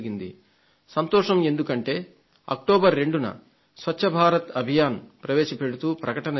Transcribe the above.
సంతోషం ఎందుకంటే అక్టోబర్ 2న స్వచ్ఛ భారత్ అభియాన్ ప్రవేశపెడుతూ ప్రకటన చేశాం